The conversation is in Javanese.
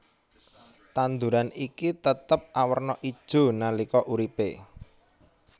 Tanduran iki tetep awerna ijo nalika uripe